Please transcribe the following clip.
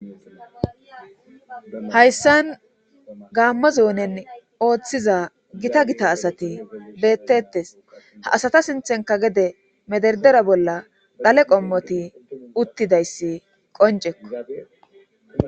Hayssan gaammozoonen ooththiza gita gita asati beettettes ha asata sinthenka gede mederdera bolla dhale qommoti uttidayssi qoncekko.